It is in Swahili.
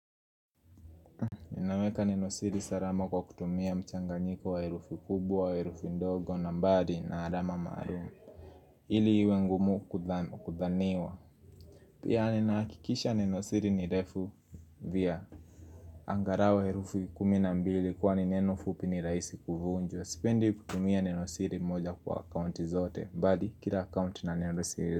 Ninaweka Neno siri salama kwa kutumia mchanganyiko wa herufu kubwa wa herufu ndogo na mbali na alama marumu. Ili iwe ngumu kudhaniwa. Pia ninaakikisha Neno siri ni refu via. Angarau herufu kumi na mbili kwani neno fupi ni raisi kufunjwa. Sipendi kutumia Neno siri moja kwa account zote. Mbali kila account i na Neno siri.